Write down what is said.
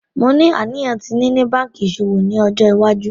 Mo ni aniyan ti nini banki iṣowo ni ọjọ iwaju.